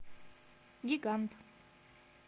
гигант